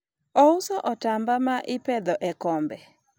ouso otamba ma ipedho e kombe